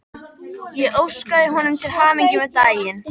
Ég óskaði honum til hamingju með daginn.